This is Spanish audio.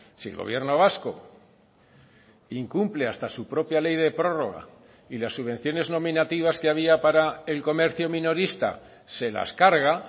si el gobierno vasco incumple hasta su propia ley de prórroga y las subvenciones nominativas que había para el comercio minorista se las carga